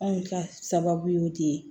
Anw ka sababu y'o de ye